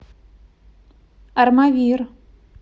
армавир